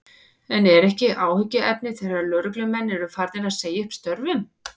En er ekki áhyggjuefni þegar lögreglumenn eru farnir að segja upp störfum?